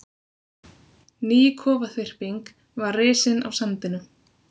Ný kofaþyrping var risin á sandinum.